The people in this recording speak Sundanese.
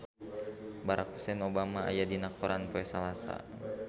Barack Hussein Obama aya dina koran poe Salasa